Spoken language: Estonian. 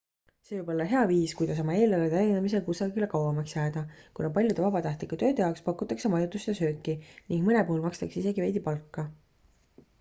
see võib olla hea viis kuidas oma eelarve täiendamisega kusagile kauemaks jääda kuna paljude vabatahtlike tööde jaoks pakutakse majutust ja sööki ning mõne puhul makstakse isegi veidi palka